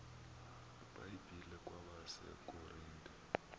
ibhayibhile kwabase korinte